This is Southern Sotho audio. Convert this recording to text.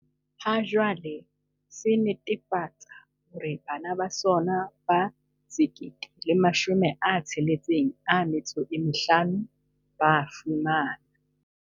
Ha jwale, se netefatsa hore bana ba sona ba 1 065 ba fumana